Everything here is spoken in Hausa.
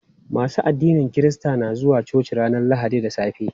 Masu addinin kirista na zuwa coci ranar lahadi da safe.